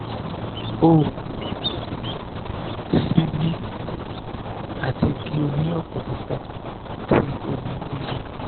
o si bì ati ki o ni opolopo ti omi iyọ